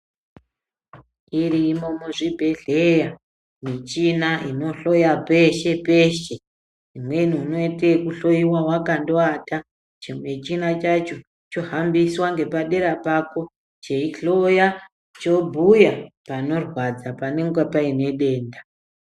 Irimo muzvibhidhleya michina inohloya peshe peshe imweni unoite kuhloyiwa wakangowata chimuchina chacho chohambiswa ngepader pako cheihloya chobhuya panorwadza panenga painedenda.